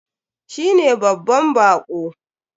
Shi ne babban bako.